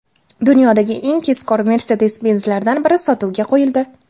Dunyodagi eng tezkor Mercedes-Benz’lardan biri sotuvga qo‘yildi .